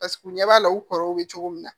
Paseke u ɲɛ b'a la u kɔrɔw bɛ cogo min na